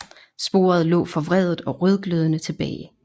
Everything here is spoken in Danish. Sporet lå forvredet og rødglødende tilbage